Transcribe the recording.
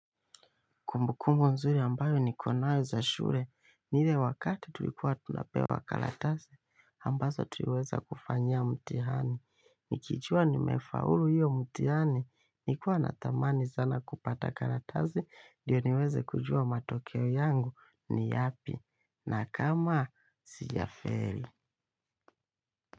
Kumbukumbu nzuri ambayo niko nayo za shule, ni ile wakati tulikuwa tunapewa karatasi, ambazo tuliweza kufanyia mtihani. Nikijuwa nimefaulu hiyo mtihani, nilikuwa natamani sana kupata karatasi, ndiyo niweze kujua matokeo yangu ni yapi, na kama sijafeli.